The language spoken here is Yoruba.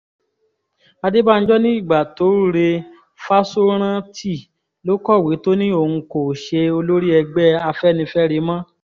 adébànjọ ní ìgbà tó re fáṣórántì ló kọ̀wé tó ní òun kò ṣe olórí ẹgbẹ́ afẹ́nifẹ́re mọ́